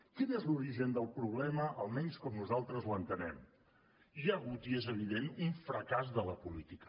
quin és l’origen del problema almenys com nosaltres l’entenem hi ha hagut i és evident un fracàs de la política